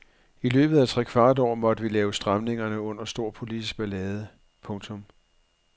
I løbet af trekvart år måtte vi lave stramningerne under stor politisk ballade. punktum